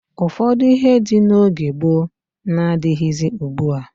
Ụfọdụ ihe dị n'oge gboo n'adịghịzị ugbua.